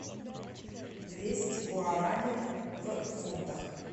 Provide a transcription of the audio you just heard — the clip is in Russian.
двести гуарани в фунтах